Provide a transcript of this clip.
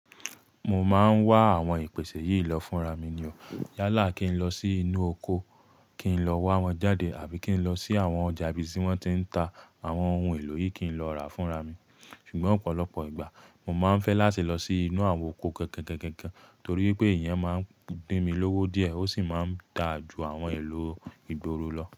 Mo máà ń wá àwọn ìpèsè yìí lọ fún ra mi ni o. Yálà kí n lọ sí inú oko, kí n lọ wá wọn jáde àbí kí n lọ sí àwọn ọjà ibi tí wọ́n tí ń ta àwọn ohun èlò yìí kí n lọ rà fún ra mi. Ṣùgbọ́n ọ̀pọ̀lọpọ̀ ìgbà mo máa ń fẹ́ láti lọ sí inú àwọn oko gangan torí pé ìyẹn máa ń gbé mi lówó díẹ̀ ó sì máa ń da ju àwọn èlò ìgboro lọ.